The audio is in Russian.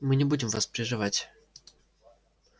мы не будем вас прерывать